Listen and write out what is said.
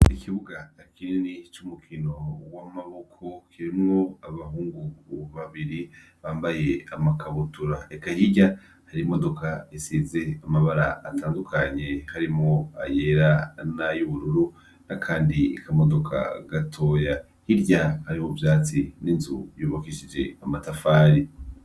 Ikibuga cumukino wamaboko kirimwo abahungu babiri bambaye amakabutura eka hirya yimodoka risize amabara atandukanye harimwo ayera nayubururu nakandi kamodoka gatoya hirya hari ivyatsi ninzu yubakishijwe amatafari